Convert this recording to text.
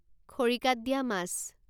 খৰিকাত দিয়া মাছ